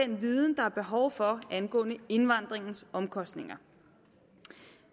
den viden der er behov for angående indvandringens omkostninger